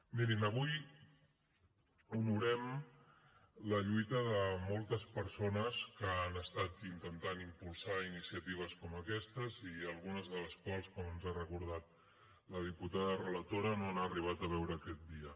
mirin avui honorem la lluita de moltes persones que han estat intentant impulsar iniciatives com aquesta i algunes de les quals com ens ha recordat la diputada relatora no han arribat a veure aquest dia